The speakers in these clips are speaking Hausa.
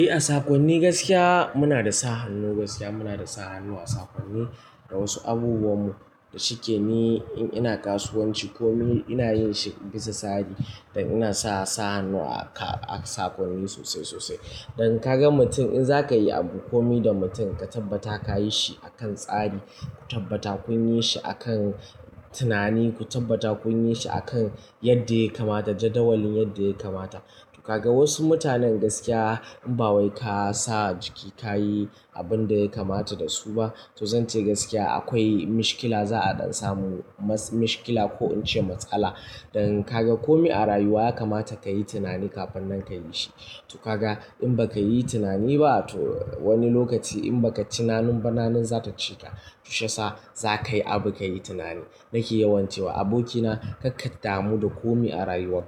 Eh, a sakonni gaskiya muna da sa hannu gaskiya. Muna da sa hannu a sakonni da wasu abubuwanmu. Shikeni in ina kasuwanci komi ina yin shi bisa tsari. Dan ina sa sa hannu a sakonni sosai sosai. Dan kaga mutum in za ka yi abu komi da mutum ka tabbata ka yi shi akan tsari. Ku tabbata kun yi shi akan tunani, ku tabbata kun yi shi akan yadda ya kamata. Jadawalin yadda ya kamata. Kaga wasu mutanen gaskiya in ba wai ka sa jiki ka yi abin da ya kamata da su ba, to zan ce gaskiya akwai mishkila. Za'a iya samun mishkila ko in ce matsala. Dan kaga komi a rayuwa ya kamata ka yi tunani kafin nan ka yi shi. To kaga in ba ka yi tunani ba to wani lokaci in ba ka cinani ba nanin za ta cika. To shi yasa za ka yi abu, ka yi tunani. Nake yawan cewa abokina karka damu da komai a rayuwar.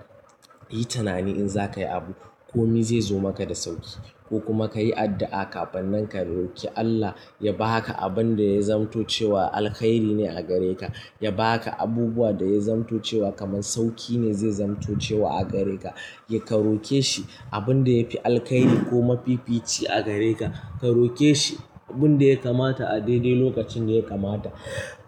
Yi tunani in za ka yi abu komai zai zo maka da sauƙi ko kuma ka yi addu'a kafin nan ka roke Allah ya ba ka abin da ya zamto cewa alkairi ne a gare ka. Ya ba ka abubuwa da ya zamto cewa kamar sauƙi ne zai zamto cewa a gare ka. Ya karoke shi abin da ya fi alkairi ko mafifici a gare ka. Karoke shi abin da ya kamata a daidai lokacin da ya kamata.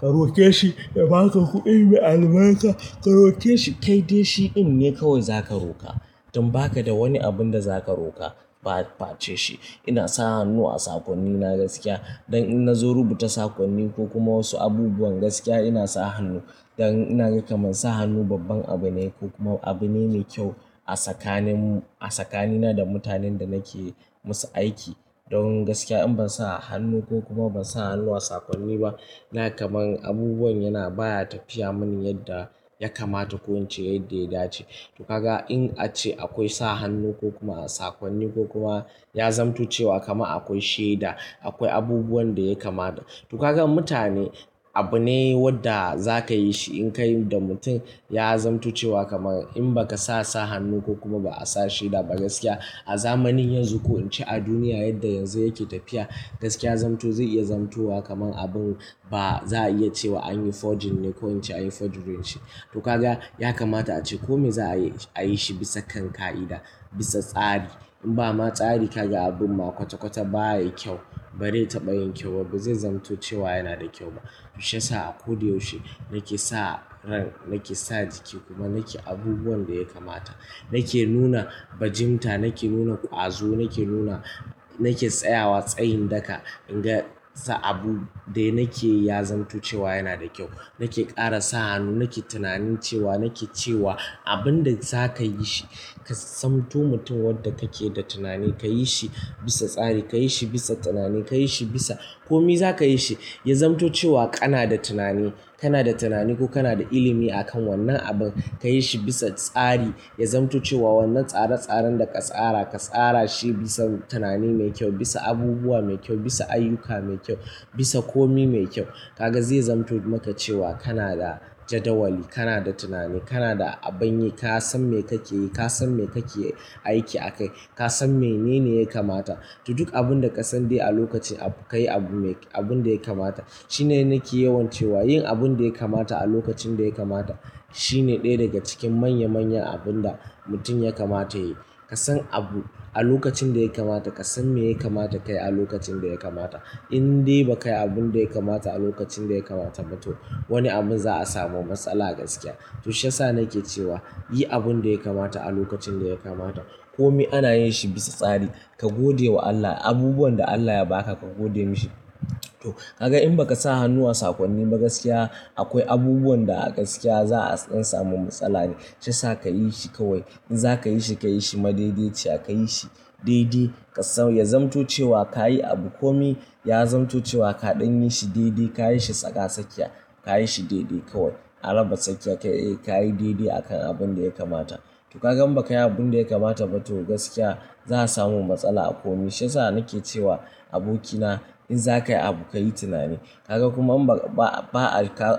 Ka roke shi ya ba ka kuɗi mai albarka. Kar oke shi, kaide shi. Inde kawai za ka roka don ba ka da wani abin da za ka roka, bace shi. Ina sa hannu a sakonni na gaskiya don in na zo rubuta sakonni ko kuma wasu abubuwan gaskiya ina sa hannu. Don ina ga kamar sa hannu babban abu ne ko kuma abu ne me kyau a tsakaninmu, a tsakanina da mutanen da nake musu aiki. Don gaskiya in ban sa hannu ko kuma ban sa hannu a sakonni ba, na kamar abubuwan yana baya tafiya mani yadda ya kamata ko in ce yadda ya dace. To kaga in ace akwai sa hannu ko kuma a sakonni ko kuma ya zamto cewa kama akwai shaida, akwai abubuwan da ya kamata. To kaga mutane abu ne wanda za ka yi shi in ka yi da mutum ya zamto cewa kamar in ba ka sa sa hannu ko kuma ba a sa shaida ba gaskiya a zamanin yanzu ko in ce a duniya yadda yanzu yake tafiya, gaskiya zamto zai iya zamto wa kamar abun ba za a iya ce wa anyi forging ne ko ince anyi forgery shi. To kaga ya kamata ace komai za a yi shi bisa kan ka'ida, bisa tsari. In ba ma tsari kaga abun ma kwata kwata baya kyau. Ba zai taɓa yin kyau ba, ba zai zamto cewa yana da kyau ba. To shi yasa a ko da yaushe nake sa ran, nake sa jiki kuma nake abubuwan da ya kamata. Nake nuna fajinta, nake nuna ƙwazo, nake nuna-- nake tsayawa tsayin daka in ga abu dai nake ya zamto cewa yana da kyau. Nake ƙara sa hannu, nake tunanin cewa, nake cewa abin da za ka yi shi ka zamto mutum wanda kake da tunani ka yi shi bisa tsari, ka yi shi bisa tunani, ka yi shi bisa komi za ka yi shi ya zamto cewa kana da tunani. Kana da tunani ko kana da ilimi akan wannan abun. Ka yi shi bisa tsari. Ya zamto cewa wannan tsare-tsaren da ka tsara, ka tsara shi bisa tunani mai kyau, bisa abubuwa mai kyau, bisa ayyuka mai kyau, bisa komi mai kyau. Kaga zai zamto maka cewa kana da jadawali, kana da tunani, kana da abun yi, ka san me kake yi, ka san me kake aiki akai, ka san menene ya kamata. To duk abun da ka sani dai a lokaci ka yi abun da ya kamata. Shine nake yawan cewa yin abun da ya kamata a lokacin da ya kamata shine ɗaya daga cikin manya manyan abun da mutum ya kamata ya yi. Ka san abu a lokacin da ya kamata, ka san me ya kamata ka yi a lokacin da ya kamata. In dai ba ka yi abun da ya kamata a lokacin da ya kamata ba to wani abu za a samu matsala gaskiya. To sasa nake cewa yi abun da ya kamata a lokacin da ya kamata. Komi ana yin shi bisa tsari. Ka gode wa Allah abubuwan da Allah ya ba ka, ka gode mishi. To kaga in ba ka sa hannu a sakonni ba gaskiya akwai abubuwan da a gaskiya za a iya samun matsala ne. Shi yasa ka yi shi kawai. In za ka yi shi, ka yi shi madaidaiciya. Ka yi shi daidai. Ka samu ya zamto cewa ka yi abu komi ya zamto cewa kaɗan yi shi daidai. Ka yi shi tsaka sakiya. Ka yi shi daidai kawai. A raba sakiya ka yi daidai akan abun da ya kamata. To kaga in ba ka yi abun da ya kamata ba to gaskiya za a samu matsala a komi. Sasa nake cewa abokina in za ka yi abu, ka yi tunani. Kaga kuma ba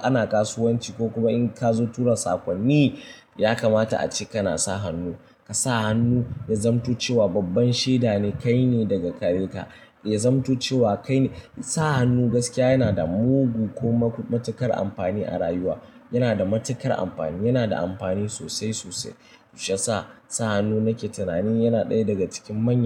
ana kasuwanci ko kuma in ka zo tura sakonni ya kamata ace kana sa hannu. Ka sa hannu ya zamto cewa babban shaida ne kai ne daga gare ka. Ya zamto cewa kai ne. Sa hannu gaskiya yana da mugu ko matuƙar amfani a rayuwa. Yana da matuƙar amfani, yana da amfani sosai sosai. To shi yasa hannu nake tunanin yana ɗaya daga cikin manya.